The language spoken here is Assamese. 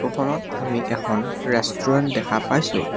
ফটো খনত আমি এখন ৰেষ্টুৰেণ্ট দেখা পাইছোঁ।